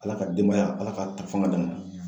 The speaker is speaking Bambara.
Ala ka denbaya ala ka tafanga d'an ma.